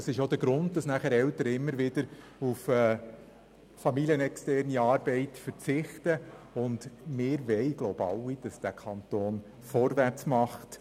Das ist auch der Grund, weshalb Eltern immer wieder auf familienexterne Arbeit verzichten, und wir wollen wohl alle, dass dieser Kanton vorwärts macht.